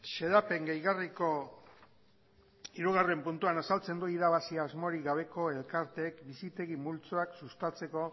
xedapen gehigarriko hirugarrena puntuak azaltzen du irabaziz asmorik gabeko elkarteek bizitegi multzoak sustatzeko